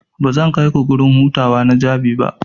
Bazan kaiku gurin hutawa na Jabi ba.